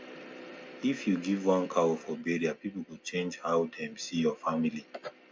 if you give one cow for burial people go change how dem see your family